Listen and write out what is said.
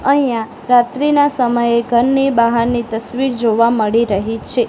અહીંયા રાત્રિના સમયે ઘરની બાહારની તસ્વીર જોવા મળી રહી છે.